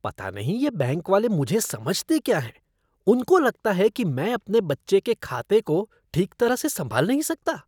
पता नहीं ये बैंक वाले मुझे समझते क्या हैं, उनको लगता कि मैं अपने बच्चे के खाते को ठीक तरह से संभाल ही नहीं सकता।